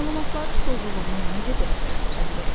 Məlumatların doğruluğunu necə dəqiqləşdirə bilərik?